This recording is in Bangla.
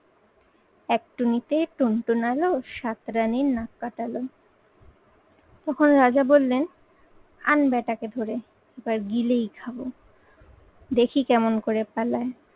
এক টুনিতে টুনটুনাল সাত রানীর নাক কাটালো। তখন রাজা বললেন আন ব্যাটাকে ধরে এবার গিলেই খাবো। দেখি কেমন করে পালায়।